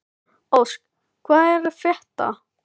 Ósk, hvað er að frétta?